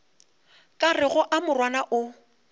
ka rego a morwana o